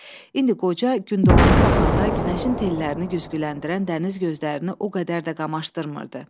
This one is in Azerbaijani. İndi qoca gündoğana baxanda günəşin tellərini güzgüləndirən dəniz gözlərini o qədər də qamaşdırmırdı.